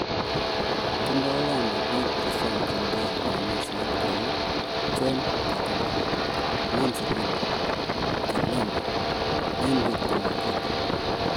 Tindoi Uganda biik chesomjinge lewenisiet kou John Katumba, Nancy Linda Kalembe, Henry Tumukunde.